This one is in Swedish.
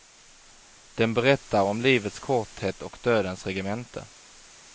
Den berättar om livets korthet och dödens regemente.